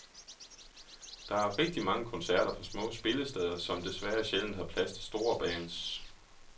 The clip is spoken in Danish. Der er rigtig mange koncerter på små spillesteder, som desværre sjældent har plads til store bands.